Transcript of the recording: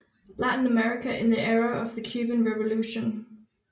Latin America in the Era of the Cuban Revolution